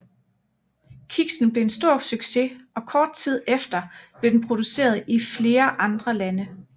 Kiksen blev en stor succes og kort tid efter blev den produceret i flere andre lande